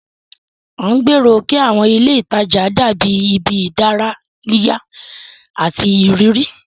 À ń gbèrò kí àwọn ilé ìtajà dàbí ibi ìdárayá àti ìrírí.